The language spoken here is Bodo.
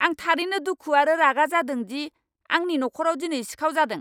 आं थारैनो दुखु आरो रागा जादों दि आंनि नखराव दिनै सिखाव जादों।